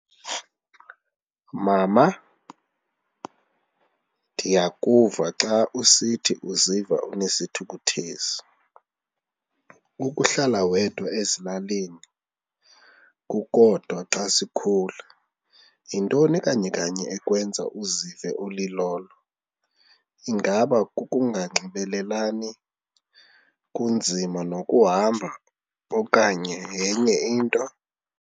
Mama, ndiyakuva xa usithi uziva unesithukuthezi, ukuhlala wedwa ezilalini kukodwa xa sikhula. Yintoni kanye kanye ekwenza uzive ulilolo? Ingaba kukunganxibelelani, kunzima nokuhamba okanye yenye into?